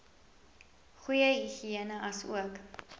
goeie higïene asook